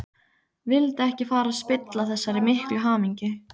Vildi ekki fara að spilla þessari miklu hamingju.